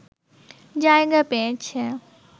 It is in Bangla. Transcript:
জায়গা পেয়েছে